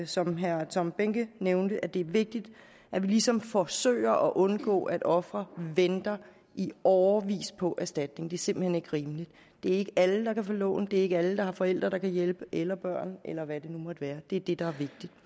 som herre tom behnke nævnte at det er vigtigt at vi ligesom forsøger at undgå at ofre venter i årevis på erstatning det er simpelt hen ikke rimeligt det er ikke alle der kan få lån det er ikke alle der har forældre der kan hjælpe eller børn eller hvad det nu måtte være det er det der er